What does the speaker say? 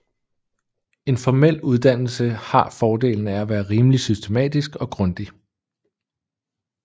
En formel uddannelse har fordelen af at være rimeligt systematisk og grundig